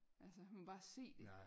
altså man kan bare se det